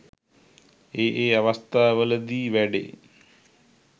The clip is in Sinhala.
ඒ ඒ අවස්ථාවල දී වැඩේ.